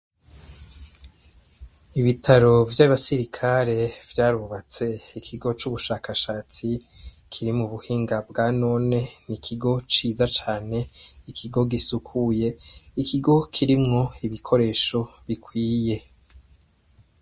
Ibitaro vy'abasirikare vyarubatse ikigo c'ubushakashatsi kiri mu buhinga bwa none, n'ikigo ciza cane ikigo gisukuye, n'ikigo kirimwo ibikoresho bikwiye.